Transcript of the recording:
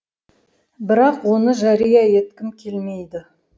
бірақ оны жария еткім келмейді